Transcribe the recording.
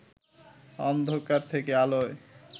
অন্ধকার থেকে আলোয়